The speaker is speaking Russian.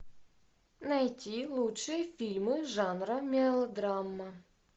найти лучшие фильмы жанра мелодрама